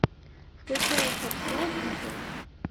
включай фокс лайф на тв